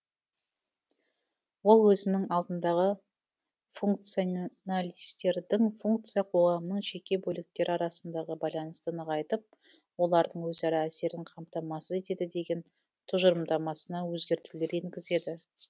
ол өзінің алдындағы функционалистердің функция қоғамның жеке бөліктері арасындағы байланысты нығайтып олардың өзара әсерін камтамасыз етеді деген тұжырымдамасына өзгертулер енгізеді